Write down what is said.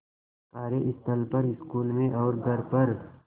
कार्यस्थल पर स्कूल में और घर पर